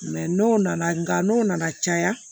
n'o nana nka n'o nana caya